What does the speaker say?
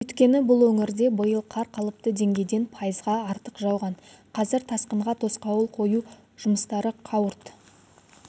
өйткені бұл өңірде биыл қар қалыпты деңгейден пайызға артық жауған қазір тасқынға тосқауыл қою жұмыстары қауырт